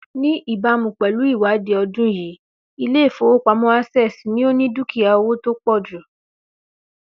Ní ìbámu pẹ̀lú ìwádìí ọdún yìí, Ilé ìfowópamó̩ Access ni ó ni dúkìá owó tí ó pò̩ jù